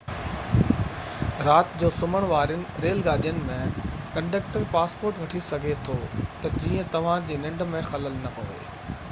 رات جو سمهڻ وارين ريل گاڏين ۾ ڪنڊڪٽر پاسپورٽ وٺي سگهي ٿو تہ جيئن توهان جي ننڊ ۾ خلل نہ پوي